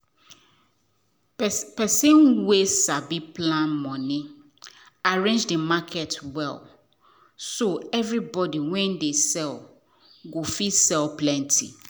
person wen sabi plan money arrange the market well so everybody wen dey sell go fit sell plenty.